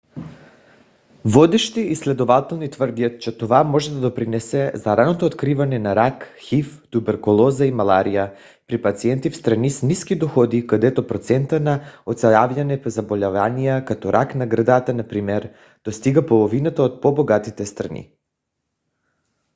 водещи изследователи твърдят че това може да допринесе за ранното откриване на рак хив туберкулоза и малария при пациенти в страни с ниски доходи където процентът на оцеляване при заболявания като рак на гърдата например достига половината от по-богатите страни